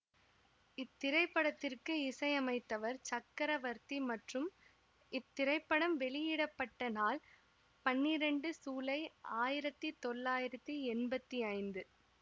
இத்திரைப்படத்திற்கு இசையமைத்தவர் சக்கரவர்த்தி மற்றும் இத்திரைப்படம் வெளியிட பட்ட நாள் பன்னிரெண்டு சூலை ஆயிரத்தி தொள்ளாயிரத்தி எம்பத்தி ஐந்து